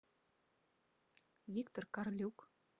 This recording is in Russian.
виктор карлюк